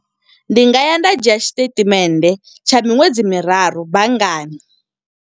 Ndi nga ya nda dzhia tshi statement, tsha miṅwedzi miraru banngani.